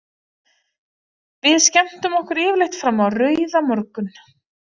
Við skemmtum okkur yfirleitt fram á rauðamorgun.